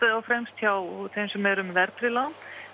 og fremst hjá þeim sem eru með verðtryggð lán